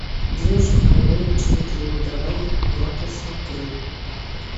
девушка моего лучшего друга давай я посмотрю